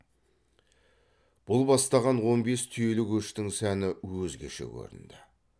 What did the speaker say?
бұл бастаған он бес түйелі көштің сәні өзгеше көрінді